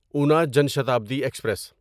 انا جان شتابدی ایکسپریس